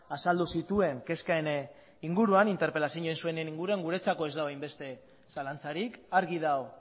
azaldu zituen kezken inguruan interpelazioa egin zuen inguruan guretzako ez dago hainbeste zalantzarik argi dago